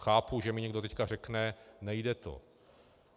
Chápu, že mi teď někdo řekne nejde to.